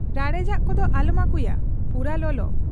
ᱨᱟᱲᱮᱡᱟᱜ ᱠᱚᱫᱚ ᱟᱞᱚᱢ ᱟᱹᱜᱩᱭᱟ, ᱯᱩᱨᱟᱹ ᱞᱚᱞᱚ ᱾